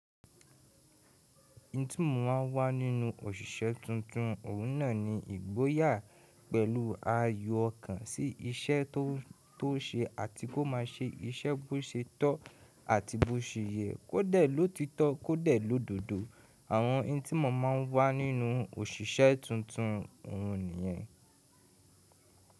Intímọ̀ máa ń wà nínú òṣìṣẹ́ tuntun ọ̀ún náà ni ìgboyà pẹ̀lú ayọ̀ ọkàn sí iṣẹ́ tó ṣe àti kó má ṣe iṣẹ́ bó ṣe tọ́ àti bó ṣe yẹ kó dẹ̀ ló títọ́ kó dẹ̀ ló dodo. Àwọn intímọ̀ máa ń wà nínú òṣìṣẹ́ tuntun òún nìyẹn.